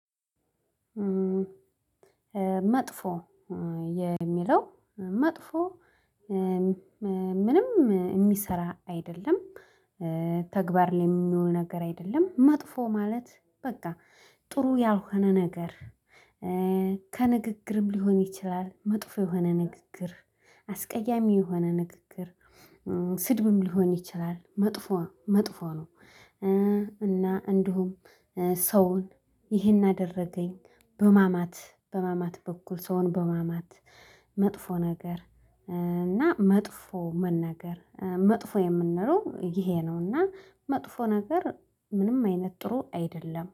መጥፎ የሚለው መጥፎ። ምንም የሚሰራ አይደለም ተግባር ላይ የሚሆን ነገር አይደለም። መጥፎ ማለት በቃ ጥሩ ያልሆነ ነገር። ከንግግርም ሊሆን ይችላል መጥፎ የሆነ ንግግር። አስቀያሚ የሆነ ንግግር ስድብም ሊሆን ይችላል። መጥፎ መጥፎ ነው። እና እንዲሁም ሰውን ይሄን አደረገኝ በማማት በማማት በኩል ሰውን በማማት መጥፎ ነገር። እና መጥፎ መናገር መጥፎ የምንለው ይሄ ነው። እና መጥፎ ነገር ምንም አይነት ጥሩ አይደለም